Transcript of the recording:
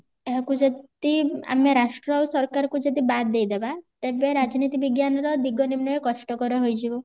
ଏହାକୁ ଯଦି ଆମେ ରାଷ୍ଟ୍ର ଆଉ ସରକାର କୁ ଯଦି ବାଦ ଦେଇଦେବା ତେବେ ରାଜନୀତି ବିଜ୍ଞାନର ଦିଗ ନିର୍ଣୟ କଷ୍ଟ କର ହେଇଯିବ